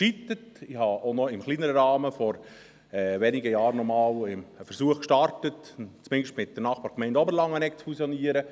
Ich startete auch im kleineren Rahmen vor wenigen Jahren noch einmal einen Versuch, zumindest mit der Nachbargemeinde Oberlangenegg zu fusionieren.